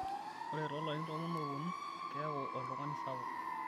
ore toolarin tomon oopuonu keeku oltungani sapuk